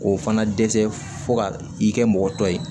O fana dɛsɛ fo ka i kɛ mɔgɔ tɔ ye